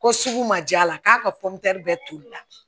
Ko sugu ma jala k'a ka bɛɛ tobila